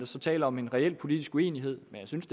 så tale om en reel politisk uenighed men jeg synes